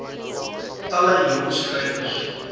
talle jong skrywers